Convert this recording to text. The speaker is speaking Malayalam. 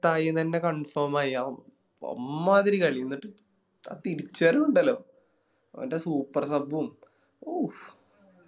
ത്തായിന്നന്നെ Confirm ആയി അ അമ്മായിരി കളി ന്നീട് ആ തിരിച്ച് വരവുണ്ടല്ലോ അവൻറെ Super sub ഉം ഔഫ്